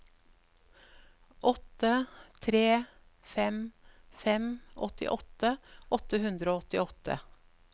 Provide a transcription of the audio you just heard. åtte tre fem fem åttiåtte åtte hundre og åttiåtte